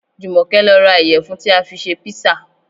Jùmọ̀kẹ́ lọ ra ìyẹ̀fun tí a fi ṣe písà